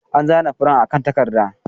An zana furen akan takarda.